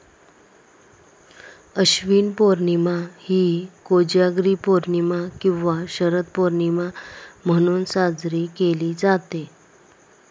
आश्विन पौर्णिमा ही कोजागिरी पौर्णिमा किंवा शरद पौर्णिमा म्हणून साजरी केली जाते.